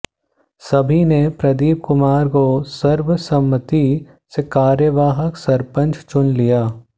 सभी ने प्रदीप कुमार को सर्वसम्मति से कार्यवाहक सरपंच चुन लिया